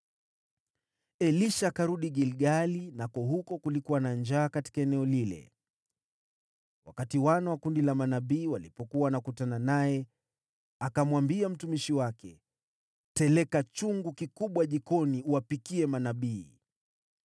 Elisha akarudi Gilgali, nako huko kulikuwa na njaa katika eneo lile. Wakati wana wa kundi la manabii walipokuwa wanakutana naye, akamwambia mtumishi wake, “Teleka chungu kikubwa jikoni uwapikie manabii.”